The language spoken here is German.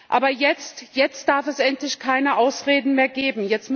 Aber jetzt darf es endlich keine Ausreden mehr geben.